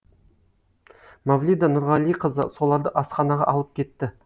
мавлида нұрғалиқызы соларды асханаға алып кетті